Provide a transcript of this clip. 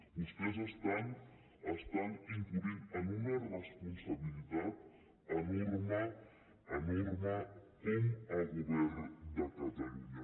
vostès estan incorrent en una responsabilitat enorme enorme com a govern de catalunya